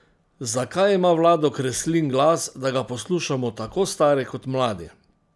Zakaj ima Vlado Kreslin glas, da ga poslušamo tako stari kot mladi?